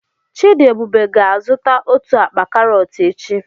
Chidiebube ga-azụta otu akpa karọt echi.